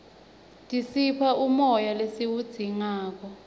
tisipha umoya lesiwudzingako